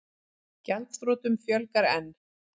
Gjaldþrotum fjölgar enn